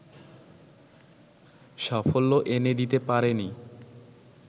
সাফল্য এনে দিতে পারেনি